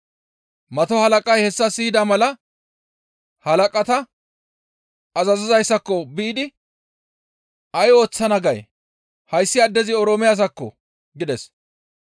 Mato halaqay hessa siyida mala halaqata azazizayssako biidi, «Ay ooththana gay? Hayssi addezi Oroome asakko!» gides.